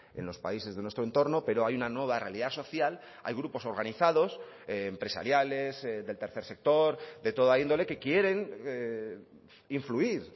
en los países de nuestro entorno pero hay una nueva realidad social hay grupos organizados empresariales del tercer sector de toda índole que quieren influir